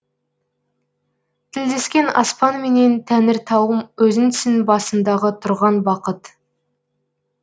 тілдескен аспанменен тәңіртауым өзіңсің басымдағы тұрған бақыт